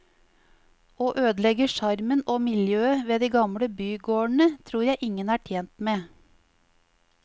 Å ødelegge sjarmen og miljøet ved de gamle bygårdene, tror jeg ingen er tjent med.